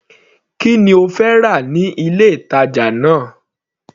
Kí ni ó fẹ́ rà ní ilé ìtàjà náà.